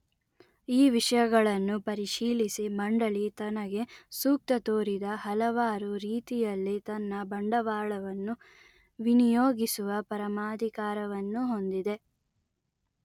ಈ ವಿಷಯಗಳನ್ನು ಪರಿಶೀಲಿಸಿ ಮಂಡಲಿ ತನಗೆ ಸೂಕ್ತ ತೋರಿದ ಹಲವಾರು ರೀತಿಯಲ್ಲಿ ತನ್ನ ಬಂಡವಾಳವನ್ನು ವಿನಿಯೋಗಿಸುವ ಪರಮಾಧಿಕಾರವನ್ನು ಹೊಂದಿದೆ